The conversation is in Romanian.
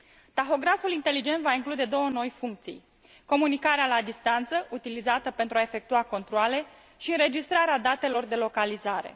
Tahograful inteligent va include două noi funcții comunicarea la distanță, utilizată pentru a efectua controale și înregistrarea datelor de localizare.